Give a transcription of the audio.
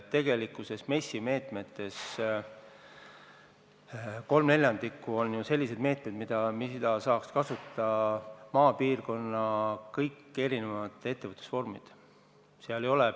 MES-i meetmetest 3/4 on ju sellised, mida saaks kasutada maapiirkonna kõik ettevõtted, olgu tegu mis tahes ettevõtlusvormiga.